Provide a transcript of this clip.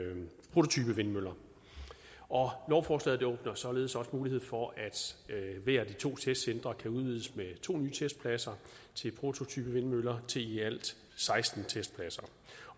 prototypevindmøller lovforslaget åbner således også mulighed for at hvert af de to testcentre kan udvides med to nye testpladser til prototypevindmøller til i alt seksten testpladser